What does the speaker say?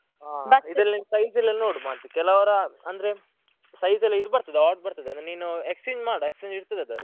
ಹಾ ನೀನ್ size ಎಲ್ಲ ನೋಡು ಮಾತ್ರ ಕೆಲವರ ಅಂದ್ರೆ size ಎಲ್ಲ ಇದು ಬರ್ತದೆ odd ಬರ್ತದೆ ಅದನ್ನ್ ನೀನು exchange ಮಾಡು exchange ಇರ್ತದೆ ಅದ್ರಲ್ಲಿ.